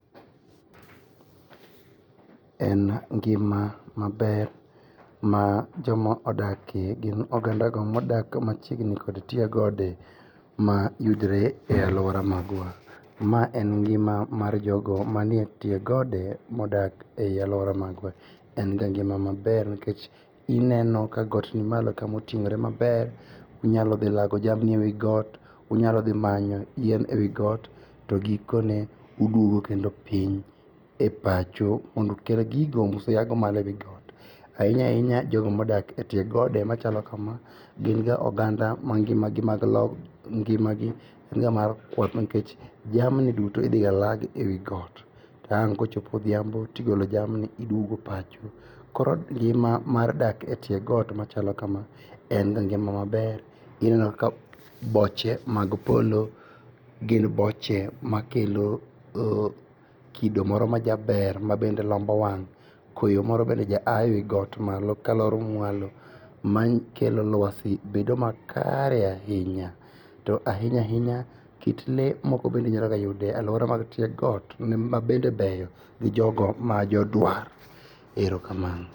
En ngima maber ma joma odakie gin ogandago modak machiegni kod tie gode mayudore e aluora magwa. Ma en ngima mar jogo manie tie gode modak e aluora magwa. Enga ngima maber nikech ineno ka got nimalo kamoting'ore maber. Inyalo dhilago jamni ewii got. Inyalo dhi manyo yien e wii got to gikone uduogo kendo piny e pacho mondo kata gigo museago malo ainyaainya jogo modak e tie gode machalo kama ginga oganda mangimagi enga mar kwath nikech jamni duto idhigalagi e wii got tang' kochopo odhiambo tigolo jamni tiduogo e pacho. Koro ngima mar dak e tie got machalo kamaa enga ngima maber. Ineno ka boche mag polo gin boche makelo kido moro majaber mabende lombo wang'.Koyo moro bende jaaye wii got malo kalor mualo. Mae kelo luasi bedo makare ainya. To ainya ainya kit lee bende nyalogayudre e aluora mag tie got mabende beyo gi jogo majoduar. Erokamano.